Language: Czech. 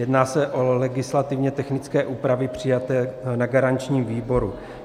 Jedná se o legislativně technické úpravy přijaté na garančním výboru.